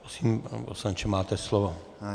Prosím, pane poslanče, máte slovo.